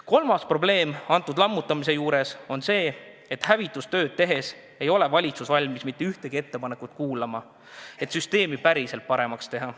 Kolmas probleem pensionisüsteemi lammutamise juures on see, et hävitustööd tehes ei ole valitsus valmis mitte ühtegi ettepanekut kuulama, et süsteemi päriselt paremaks teha.